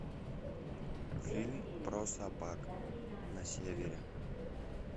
фильм про собак на севере